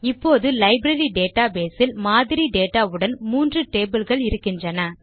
இப்போது library database ல் மாதிரி டேட்டா உடன் மூன்று டேபிள்ஸ் இருக்கின்றன